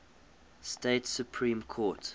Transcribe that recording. state supreme court